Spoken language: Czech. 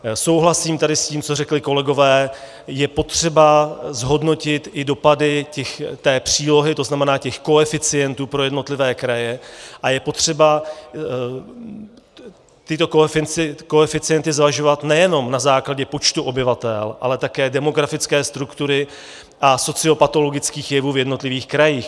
Souhlasím tady s tím, co řekli kolegové, je potřeba zhodnotit i dopady té přílohy, to znamená těch koeficientů pro jednotlivé kraje, a je potřeba tyto koeficienty zvažovat nejenom na základě počtu obyvatel, ale také demografické struktury a sociopatologických jevů v jednotlivých krajích.